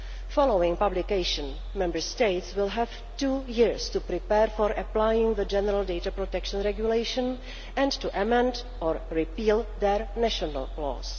Following publication, Member States will have two years to prepare for applying the general data protection regulation and to amend or repeal their national laws.